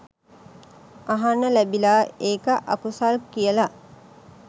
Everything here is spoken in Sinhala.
අහන්න ලැබිලා ඒක අකුසල් කියලා